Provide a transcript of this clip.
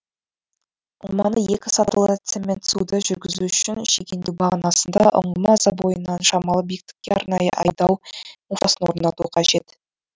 ңғыманы екі сатылы цементсуді жүргізу үшін шегендеу бағанасында ұңғыма забойынан шамалы биіктікке арнайы айдау муфтасын орнату қажет